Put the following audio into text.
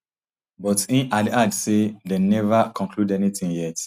but im add add say dem neva conclude anytin yet